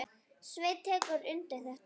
Sveinn tekur undir þetta.